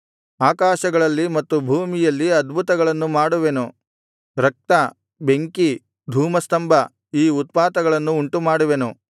ಆಕಾಶಗಳಲ್ಲಿ ಮತ್ತು ಭೂಮಿಯಲ್ಲಿ ಅದ್ಭುತಗಳನ್ನು ಮಾಡುವೆನು ರಕ್ತ ಬೆಂಕಿ ಧೂಮಸ್ತಂಭ ಈ ಉತ್ಪಾತಗಳನ್ನು ಉಂಟುಮಾಡುವೆನು